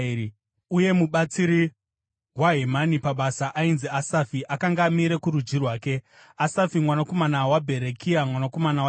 Uye mubatsiri waHemani pabasa ainzi Asafi akanga amire kurudyi rwake: Asafi mwanakomana waBherekia mwanakomana waShimea,